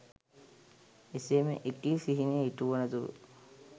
එසේම එකී සිහිනය ඉටු වන තුරු